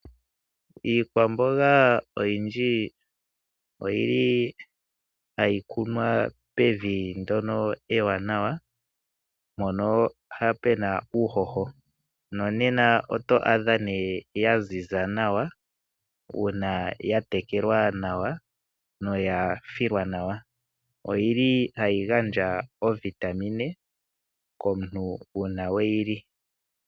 Iikwamboga oyindji oyili hayi kunwa pevi ndyono ewanawa, mpono puna uuhoho nonena oto adha nee ya ziza nawa uuna ya tekelwa nawa noya filwa nawa. Oyili hayi gandja oovitamine komuntu uuna weyi li.